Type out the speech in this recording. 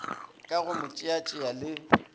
ka go mo tšeatšea le